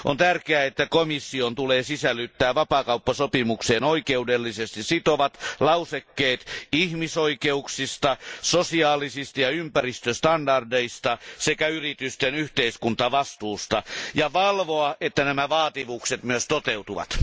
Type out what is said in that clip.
On tärkeää, että komissio sisällyttää vapaakauppasopimukseen oikeudellisesti sitovat lausekkeet ihmisoikeuksista, sosiaalisista ja ympäristöstandardeista sekä yritysten yhteiskuntavastuusta ja valvoo, että nämä vaatimukset myös toteutuvat.